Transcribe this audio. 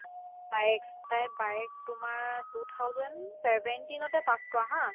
বায়েক তাইৰ বায়েক তোমাৰ two thousand seventeen তে pass কৰা to